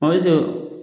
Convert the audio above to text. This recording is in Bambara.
O